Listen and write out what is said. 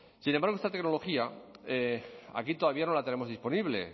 sin embargo esta tecnología aquí todavía no la tenemos disponible